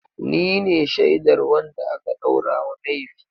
Ni ne shaidar wanda aka ɗaura wa laifi.